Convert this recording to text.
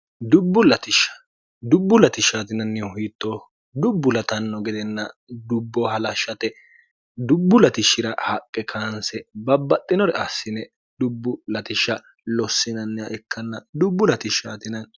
dubbu latishshatinannihu hiittooho dubbu latanno gedenna dubbo halashshate dubbu latishshira haqqe kaanse babbaxxinore assine dubbu ltshsh lossinnih ikkn dubbu lshs